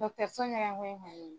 Dɔgɔtɔrɔso ɲɛgen koyi